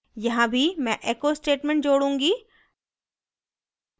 यहाँ भी मैं echo statement जोडूँगी